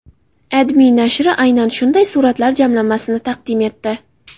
AdMe nashri aynan shunday suratlar jamlanmasini taqdim etdi .